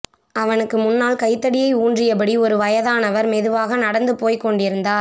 அவனுக்கு முன்னால் கைத்தடியை ஊன்றியபடி ஒரு வயதானவர் மெதுவாக நடந்து போய்க் கொண்டிருந்தார்